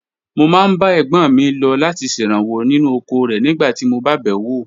Mo máa ń bá ẹ̀gbọ́n mi lọ láti ṣèrànwọ́ nínú oko rẹ̀ nígbà tí mo bá bẹ̀ wò.